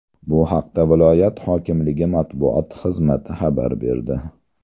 Bu haqda viloyat hokimligi matbuot xizmati xabar berdi.